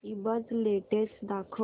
ईबझ लेटेस्ट दाखव